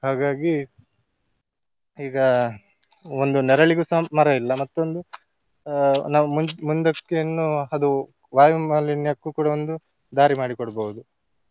ಹಾಗಾಗಿ ಈಗ ಒಂದು ನೆರಳಿಗುಸ ಮರ ಇಲ್ಲ ಮತ್ತೊಂದು ಆ ನಾವು ಮುಂದ್~ ಮುಂದಕ್ಕಿನ್ನು ಅದು ವಾಯುಮಾಲಿನ್ಯಕ್ಕೂ ಕೂಡ ಒಂದು ದಾರಿ ಮಾಡಿ ಕೊಡ್ಬಹುದು.